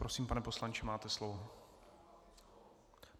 Prosím, pane poslanče, máte slovo.